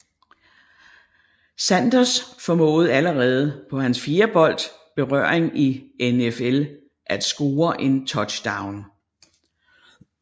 Sanders formåede allerede på han fjerde bold berøring i NFL at score en touchdown